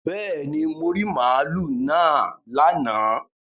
Bẹ́ẹ̀ni, mo rí màlúù náà lánàá